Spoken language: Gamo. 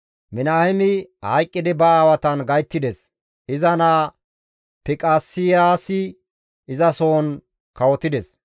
Minaheemi hayqqidi ba aawatan gayttides; iza naa Fiqaseyaasi izasohon kawotides.